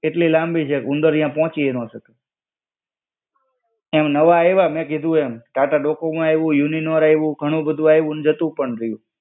એટલે લાંબી છે કે ઉંદર ત્યાં પોચી અ નો શકે. એમ નવા આઇવા મેં કીધું એમ. ટાટા ડોકોમો આઈવું, યુનિનોર આઈવું ઘણું બધું આઈવું ને જતું પણ રિયુ.